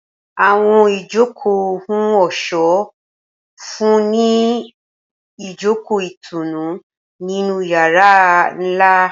Awọn ijoko ohun ọṣọ nfunni ni ijoko itunu ninu yara nla.